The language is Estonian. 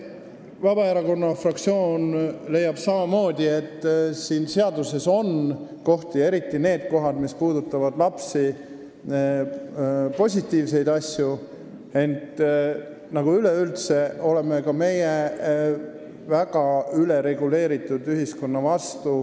Vabaerakonna fraktsioon leiab samamoodi, et siin seaduses on positiivseid asju, me peame silmas eriti neid kohti, mis puudutavad lapsi, ent üleüldse oleme ka meie väga ülereguleeritud ühiskonna vastu.